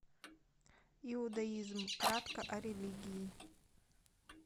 иудаизм кратко о религии